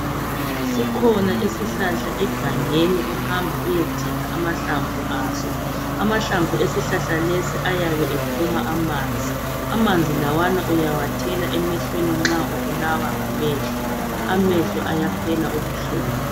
Sikhona isihlahla egangeni ohamba uyedinga amahlamvu aso. Amahlamvu esihlahla lesi ayabe ephuma amanzi. Amanzi lawana uyawathela emehlweni nxa ubulawa ngamehlo, amehlo ayaphela ubuhlungu.